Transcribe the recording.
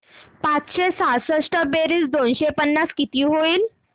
पाचशे सहासष्ट बेरीज दोनशे पन्नास किती होईल